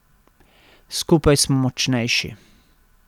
Skupaj smo močnejši.